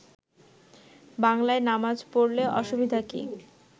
বাংলায় নামাজ পড়লে অসুবিধা কি